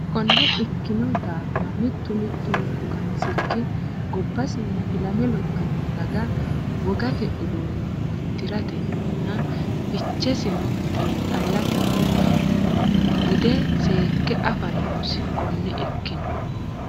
Konne ikkino daafira, mittu mittunku qansichi gobbasinna ilame lophino daga wogate uduunne di’ratenninna fichesino xiinxallatenni bude seekke afa noosi Konne ikkino.